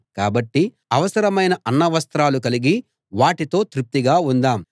కాబట్టి అవసరమైన అన్నవస్త్రాలు కలిగి వాటితో తృప్తిగా ఉందాం